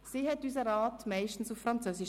Sie leitete den Rat meistens auf Französisch.